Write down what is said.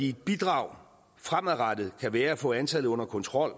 et bidrag fremadrettet kan være at få antallet under kontrol